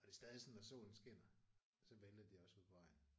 Og det er stadig sådan når solen skinner så vælter de også ud på vejen